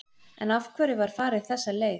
En af hverju var farið þessa leið?